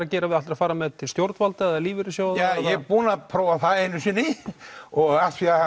að gera ætlarðu að fara með þetta til stjórnvalda til lífeyrissjóða ég er búinn að prófa það einu sinni og af því að